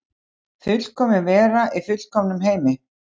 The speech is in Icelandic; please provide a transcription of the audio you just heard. Fullkomin vera í fullkomnum heimi.